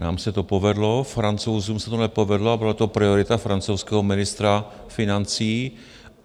Nám se to povedlo, Francouzům se to nepovedlo a byla to priorita francouzského ministra financí.